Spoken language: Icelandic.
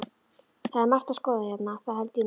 Það er margt að skoða hérna, það held ég nú.